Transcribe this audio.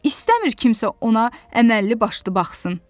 İstəmir kimsə ona əməlli başlı baxsın.